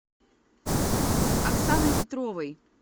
оксаной петровой